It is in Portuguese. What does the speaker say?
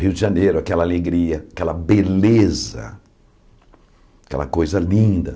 Rio de Janeiro, aquela alegria, aquela beleza, aquela coisa linda.